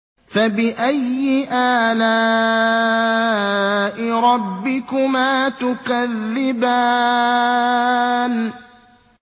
فَبِأَيِّ آلَاءِ رَبِّكُمَا تُكَذِّبَانِ